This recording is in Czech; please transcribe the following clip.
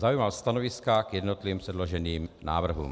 Zaujímal stanoviska k jednotlivým předloženým návrhům.